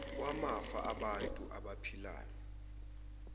wamafa angabantu abaphilayo